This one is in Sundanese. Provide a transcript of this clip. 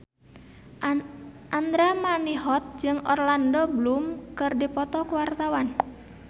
Andra Manihot jeung Orlando Bloom keur dipoto ku wartawan